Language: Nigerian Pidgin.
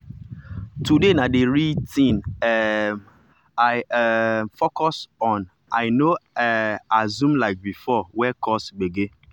today na the real thing um i um focus on i no um assume like before wey cause gbege.